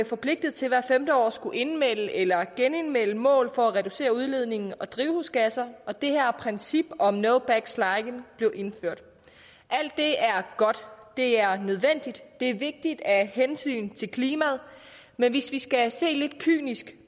forpligtet til hvert femte år at skulle indmelde eller genindmelde mål for at reducere udledningen af drivhusgasser og det her princip om no backsliding blev indført alt det er godt det er nødvendigt det er vigtigt af hensyn til klimaet men hvis vi skal se lidt kynisk